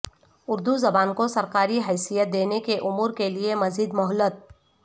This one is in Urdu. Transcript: اردو زبان کو سرکاری حیثیت دینے کے امور کے لیے مزید مہلت